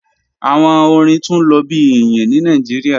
Awọn ọ̀rìn tun lo bi iyin ni Nigeria